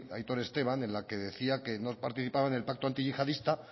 aitor esteban en la que decía que no participaban en el pacto antiyihadista